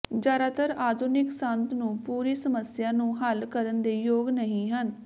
ਜ਼ਿਆਦਾਤਰ ਆਧੁਨਿਕ ਸੰਦ ਨੂੰ ਪੂਰੀ ਸਮੱਸਿਆ ਨੂੰ ਹੱਲ ਕਰਨ ਦੇ ਯੋਗ ਨਹੀ ਹਨ